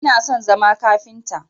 Ina son zama kafinta